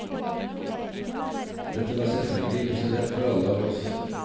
Dette var selvfølgelig ikke så lett for alle av oss.